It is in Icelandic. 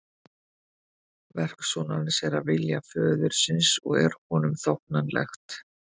Verk sonarins er að vilja föðurins og er honum þóknanlegt.